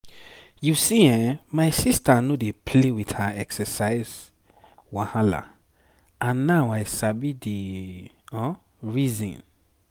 you see[um]my sister no dey play with her exercise wahala and now i sabi the reason.